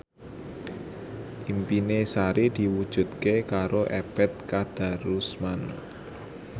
impine Sari diwujudke karo Ebet Kadarusman